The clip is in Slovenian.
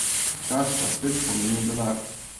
Čas pa spet pomeni denar.